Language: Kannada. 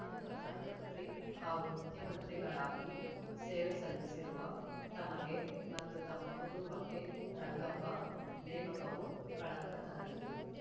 ಪ್ರಧಾನ ಮಂತ್ರಿ ಹಾಗೂ ಮುಖ್ಯಮಂತ್ರಿಗಳಾಗಿ ಸೇವೆ ಸಲ್ಲಿಸಿರುವ ತಮಗೆ ಮತ್ತು ತಮ್ಮ ಕುಟುಂಬಕ್ಕೆ ರಂಗಪ್ಪ ನೇಮಕವು ಕಳಂಕ ತರಲಿದೆ